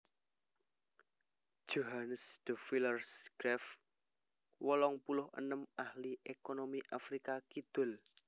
Johannes de Villiers Graaff wolung puluh enem ahli ékonomi Afrika Kidul